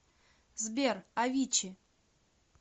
сбер авичи